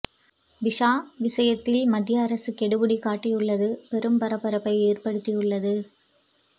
visa விஷயத்தில் மத்திய அரசு கெடுபிடி காட்டியுள்ளது பெரும் பரபரப்பை ஏற்படுத்தி உள்ளது